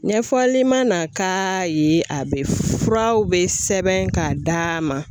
Ɲɛfɔli ma k'a ye a bɛ furaw bɛ sɛbɛn k'a d'a ma.